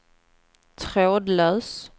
trådlös